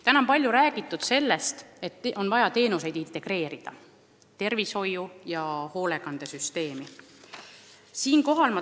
Täna on palju räägitud sellest, et on vaja teenuseid integreerida kogu tervishoiu- ja hoolekandesüsteemiga.